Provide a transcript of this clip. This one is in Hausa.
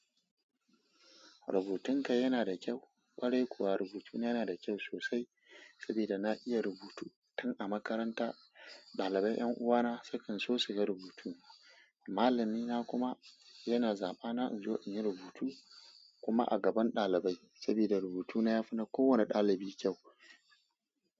Rubutunka yana da kyau. Ƙwarai kuwa rubutuna yana da kyau sosai saboda na iya rubutu. Tun a makaranta ɗalibai 'yan uwana sukan so su ga rubutu. Malamina kuma yana zaba na in zo in yi rubutu kuma a gaban ɗalibai saboda rubutuna yafi na kowane ɗalibi kyau.